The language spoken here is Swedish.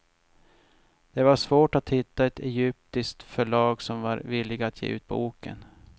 Det var svårt att hitta ett egyptiskt förlag som var villigt att ge ut boken.